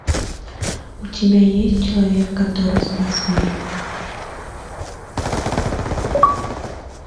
у тебя есть человек который спас мир